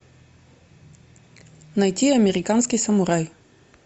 найти американский самурай